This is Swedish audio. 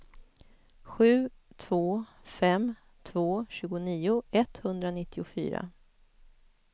sju två fem två tjugonio etthundranittiofyra